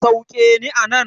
Sauke ni anan.